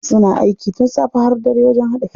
Suna aiki tun safe har dare wajen haɗa fim.